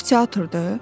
Bura teatrdır?